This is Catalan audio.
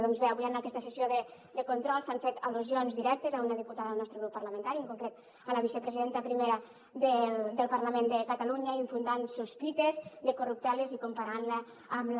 doncs bé avui en aquesta sessió de control s’han fet al·lusions directes a una diputada del nostre grup parlamentari en concret a la vicepresidenta primera del parlament de catalunya infonent sospites de corrupteles i comparant la amb la